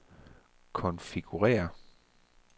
konfigurér